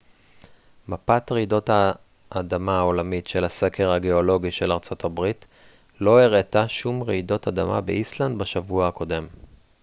מפת רעידות האדמה העולמית של הסקר הגאולוגי של ארצות הברית לא הראתה שום רעידות אדמה באיסלנד בשבוע הקודם